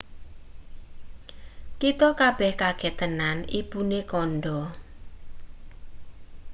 "kita kabeh kaget tenan ibune kandha.